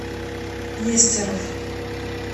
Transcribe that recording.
нестеров